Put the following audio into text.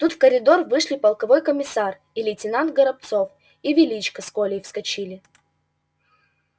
тут в коридор вышли полковой комиссар и лейтенант горобцов и величко с колей вскочили